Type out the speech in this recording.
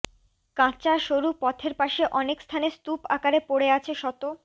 কাঁচা সরু পথের পাশে অনেক স্থানে স্তূপ আকারে পড়ে আছে শত